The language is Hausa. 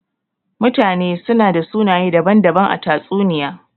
Mutane su na da sunaye daban-daban a tatsuniya.